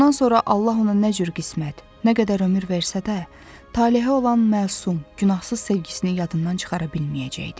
Bundan sonra Allah ona nə cür qismət, nə qədər ömür versə də, Talehə olan məsum, günahsız sevgisini yadından çıxara bilməyəcəkdi.